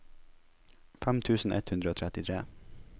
fem tusen ett hundre og trettitre